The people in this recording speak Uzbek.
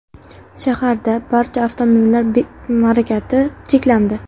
Shaharda barcha avtomobillar harakati cheklandi.